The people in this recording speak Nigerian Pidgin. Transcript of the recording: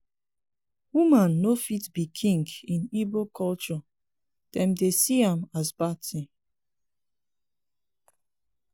woman no fit be king in igbo culture dem dey see am as bad thing.